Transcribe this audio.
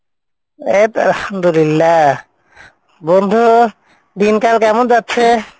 এইতো আলহামদুলিল্লাহ বন্ধু, দিনকাল কেমন যাচ্ছে?